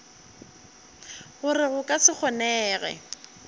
gore go ka se kgonege